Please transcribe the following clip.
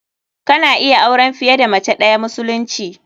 Kana iya auren fiye da mace ɗayaa musulunci.